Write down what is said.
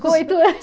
Com oito